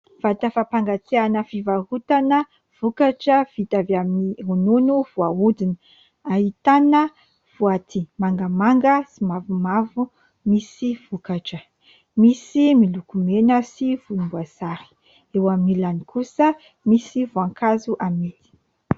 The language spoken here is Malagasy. Vata fampangatsiahana fivarotana vokatra vita avy amin'ny ronono voahodina. Ahitana boaty mangamanga sy mavomavo misy vokatra. Misy miloko mena sy volomboasary. Eo amin'ny ilany kosa misy voankazo amidy.